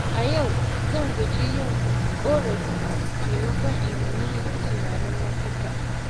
A yau, zan guji yin ƙorafi maimakon in yi tunanin mafita.